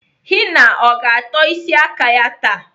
Henna ọ ga-atọ isi aka ya taa?